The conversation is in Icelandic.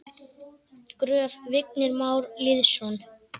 Gröf: Vignir Már Lýðsson